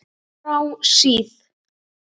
Frá síð